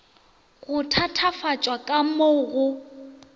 go thatafatšwa ka mo go